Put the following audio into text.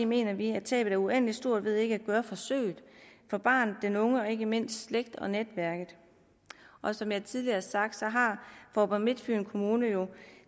mener vi at tabet er uendelig stort ved ikke at gøre forsøget for barnet den unge og ikke mindst slægten og netværket og som jeg tidligere har sagt så har faaborg midtfyn kommune jo